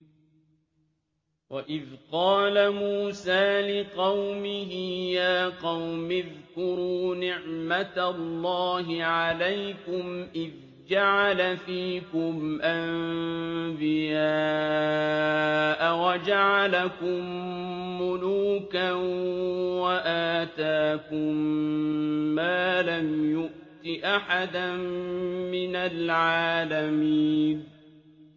وَإِذْ قَالَ مُوسَىٰ لِقَوْمِهِ يَا قَوْمِ اذْكُرُوا نِعْمَةَ اللَّهِ عَلَيْكُمْ إِذْ جَعَلَ فِيكُمْ أَنبِيَاءَ وَجَعَلَكُم مُّلُوكًا وَآتَاكُم مَّا لَمْ يُؤْتِ أَحَدًا مِّنَ الْعَالَمِينَ